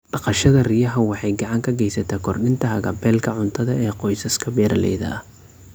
Dhaqashada riyaha waxay gacan ka geysataa kordhinta haqab-beelka cuntada ee qoysaska beeraleyda ah.